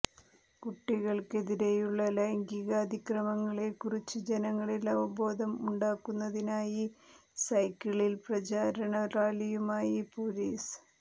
കുട്ടികള്ക്കെതിരെയുള്ള ലൈംഗികാതിക്രമങ്ങളെ കുറിച്ച് ജനങ്ങളിൽ അവബോധം ഉണ്ടാക്കുന്നതിനായി സൈക്കിളിൽ പ്രചാരണ റാലിയുമായി പൊലീസ്